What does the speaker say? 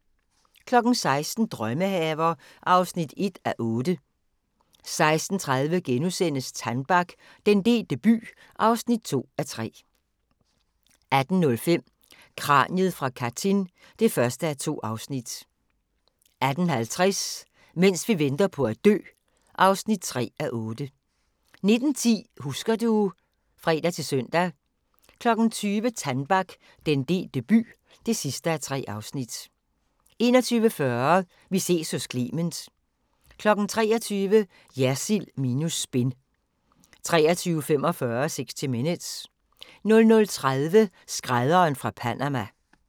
16:00: Drømmehaver (1:8) 16:30: Tannbach - den delte by (2:3)* 18:05: Kraniet fra Katyn (1:2) 18:50: Mens vi venter på at dø (3:8) 19:10: Husker du ... (fre-søn) 20:00: Tannbach - den delte by (3:3) 21:40: Vi ses hos Clement 23:00: Jersild minus spin 23:45: 60 Minutes 00:30: Skrædderen fra Panama